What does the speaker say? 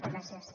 gràcies